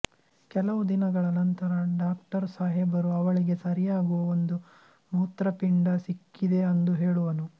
ಕೆಲವು ದಿನಗಳ ನಂತರ ಡಾಕ್ಟರ್ ಸಹೆಬರು ಅವಳಿಗೆ ಸರಿಯಾಗುವ ಒಂದು ಮುತ್ರಪಿಂಡ ಸಿಕ್ಕಿದೆ ಅಂದುಹೆಳುವನು